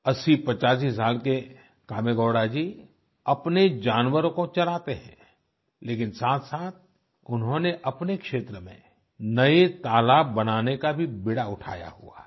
8085 साल के कामेगौड़ा जी अपने जानवरों को चराते हैं लेकिन साथसाथ उन्होंने अपने क्षेत्र में नये तालाब बनाने का भी बीड़ा उठाया हुआ है